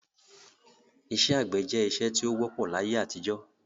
Isẹ́ àgbẹ̀ je isẹ́ ti o wọ́pọ̀ láyé-àtijọ́